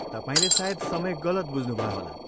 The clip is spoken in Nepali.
तपाईँले सायद समय गलत बुझ्नुभयो होला।